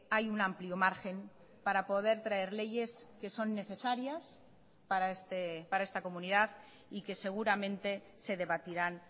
hay un amplio margen para poder traer leyes que son necesarias para esta comunidad y que seguramente se debatirán